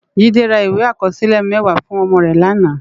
Jide rá iwé ikòsilé mèwá fún òmò rè làná